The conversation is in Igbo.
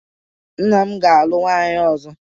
Nna m ga-alụ nwunye ọzọ